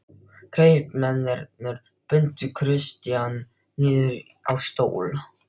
Kaupmennirnir bundu Christian niður á stól.